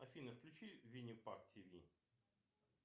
афина включи винни парк ти ви